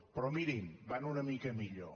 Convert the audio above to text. però mirin van una mica millor